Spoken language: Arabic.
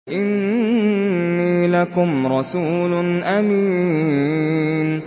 إِنِّي لَكُمْ رَسُولٌ أَمِينٌ